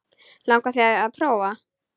Langar þig til að prófa?